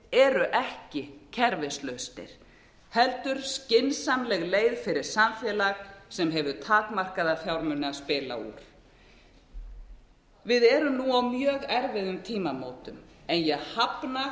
eru ekki kerfislausnir heldur skynsamleg leið fyrir samfélag sem hefur takmarkaða fjármuni að spila úr við erum nú á mjög erfiðum tímamótum en ég hafna